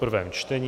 prvé čtení